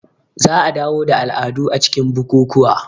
Za a dawo da al'adu a cikin bukukuwa